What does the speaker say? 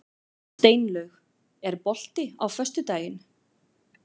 Steinlaug, er bolti á föstudaginn?